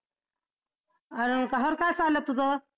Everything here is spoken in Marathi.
काय चाललं तुझं?